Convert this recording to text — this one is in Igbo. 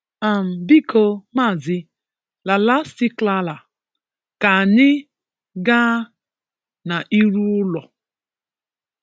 um Biko, Mazị “Lalasticlala” ka anyị ga na-iru ụlọ.